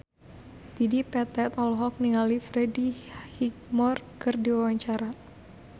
Dedi Petet olohok ningali Freddie Highmore keur diwawancara